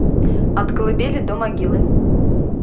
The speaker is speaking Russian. от колыбели до могилы